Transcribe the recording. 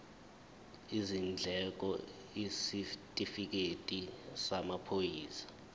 izindleko isitifikedi samaphoyisa